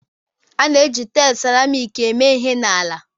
A na-eji taịlị seramiiki eme ihe n'ala